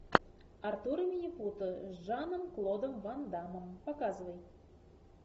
артур и минипуты с жаном клодом ван даммом показывай